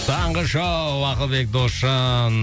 таңғы шоу ақылбек досжан